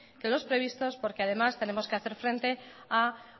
que los previstos porque además tenemos que hacer frente a